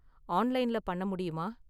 ஆன்லைன்ல பண்ண முடியுமா?